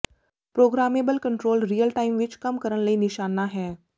programmable controller real time ਵਿੱਚ ਕੰਮ ਕਰਨ ਲਈ ਨਿਸ਼ਾਨਾ ਹੈ